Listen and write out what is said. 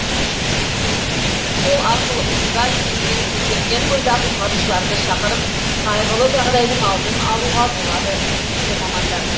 сол арқылы улы газ деңгейі көтерілген бойда құтқарушыларды шақырып қайғылы жағдайдың алдын алуға болады дейді мамандар